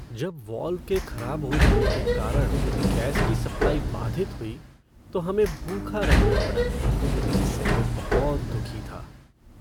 जब वाल्व के खराब हो जाने के कारण गैस की सप्लाई बाधित हुई तो हमें भूखा रहना पड़ा जिससे मैं बहुत दुखी था।